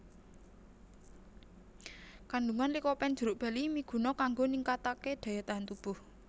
Kandungan likopen jeruk bali miguna kanggo ningkataké daya tahan tubuh